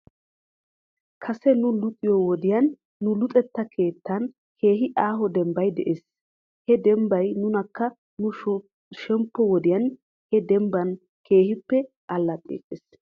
Kase nu luxiyoo wodiyan nu luxetta keettan keehi aaho dembbay de'es. He dembban nuunikka nu shemppo wodiyan he dembba keehippe alaxxeetes.